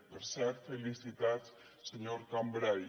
per cert felicitats senyor cambray